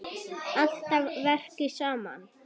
Alltaf að verki saman.